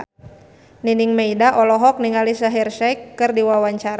Nining Meida olohok ningali Shaheer Sheikh keur diwawancara